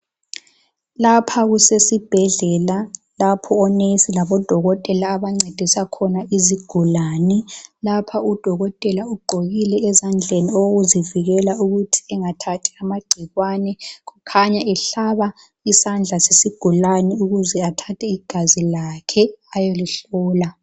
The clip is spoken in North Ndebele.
Lapha kusesibhedlela lapho onesi labodokotela abancedisa khona izigulani. Lapha udokotela ugqokile ezandleni okokuzivikela ukuthi engathathi amagcikwane. Kukhanya ehlaba isandla sesigulani ukuze athathe igazi lakhe ayolihlola.